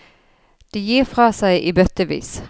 De gir fra seg i bøttevis.